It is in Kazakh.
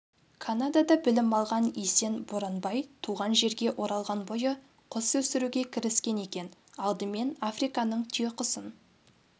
канадада білім алған есен боранбай туған жерге оралған бойы құс өсіруге кіріскен екен алдымен африканың түйеқұсын